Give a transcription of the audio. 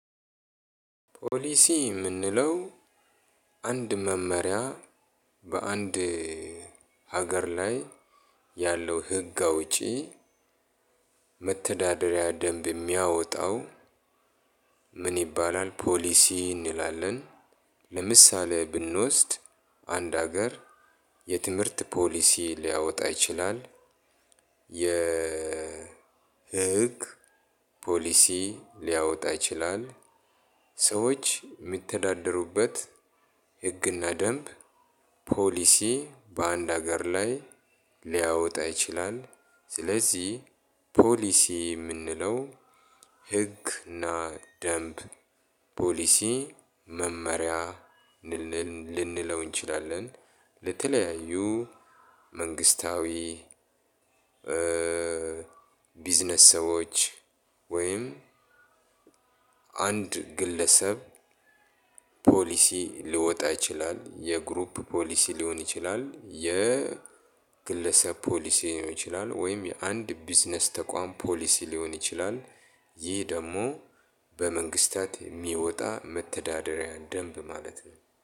ፖሊሲ የምንለው አንድ መመሪያ በአንድ ሀገር ላይ ያለው ህግ አውጪ መተዳደሪያ ደንብ የሚያወጣው ምን ይባላል? ፖሊሲ እንላለን። ለምሳሌ ብንወስድ አንድ ሀገር የትምህርት ፖሊሲ ሊያወጣ ይችላል። የ የህግ ፖሊሲ ሊያወጣ ይችላል። ሰዎች የሚተዳደሩበት ህግና ደንብ ፖሊሲ በአንድ ሀገር ላይ ሊያወጣ ይችላል። ስለዚህ ፖሊሲ የምንለው ህግ እና ደንብ ፖሊሲ መመሪያ ልንለው እንችላለን። ለተለያዩ መንግስታዊ ቢዝነስ ሰዎች ወይም አንድ ግለሰብ ፖሊሲ ሊወጣ ይችላል። የግሩፕ ፖሊሲ ሊሆን ይችላል የግለሰብ ፖሊሲ ሊሆን ይችላል ወይም የአንድ ቢዝነስ ተቋም ፖሊሲ ሊሆን ይችላል። ይህ ደግሞ በመንግስታት የሚወጣ መተዳደሪያ ደንብ ማለት ነው።